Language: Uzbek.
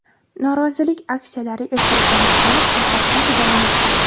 Norozilik aksiyalari ertalabdan boshlanib, tun oqquncha davom etgan.